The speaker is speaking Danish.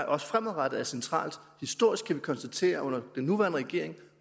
også fremadrettet er centralt historisk kan vi konstatere at under den nuværende regering